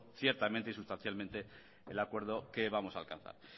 ciertamente y sustancialmente el acuerdo que vamos a alcanzar